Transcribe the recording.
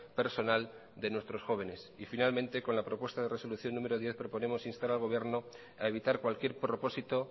personal de nuestros jóvenes y finalmente con la propuesta de resolución número diez proponemos instar al gobierno a evitar cualquier propósito